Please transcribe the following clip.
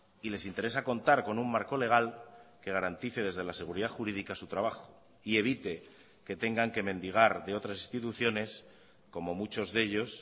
y les interesa contar con un marco legal que garantice desde la seguridad jurídica su trabajo y evite que tengan que mendigar de otras instituciones como muchos de ellos